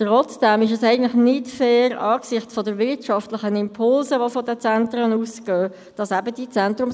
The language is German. Trotzdem ist es nicht fair, dass die Zentrumslasten nicht angepasst werden, angesichts der wirtschaftlichen Impulse, die von den Zentren ausgehen.